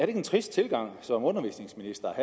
en trist tilgang som undervisningsminister